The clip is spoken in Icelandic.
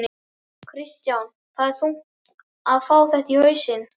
Kristján: Þetta er þungt að fá þetta í hausinn?